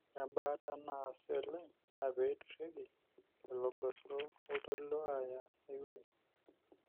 ore ebaata naasi oleng naa pee eidurieki lelo goso loltoilo aya aiwueji.